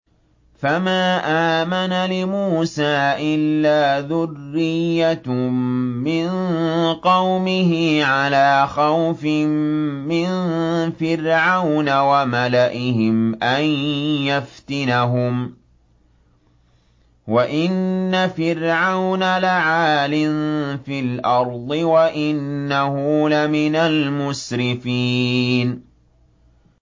فَمَا آمَنَ لِمُوسَىٰ إِلَّا ذُرِّيَّةٌ مِّن قَوْمِهِ عَلَىٰ خَوْفٍ مِّن فِرْعَوْنَ وَمَلَئِهِمْ أَن يَفْتِنَهُمْ ۚ وَإِنَّ فِرْعَوْنَ لَعَالٍ فِي الْأَرْضِ وَإِنَّهُ لَمِنَ الْمُسْرِفِينَ